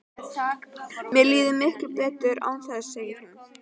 Mér líður miklu betur án þess, segir hún.